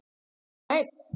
Kom hann einn?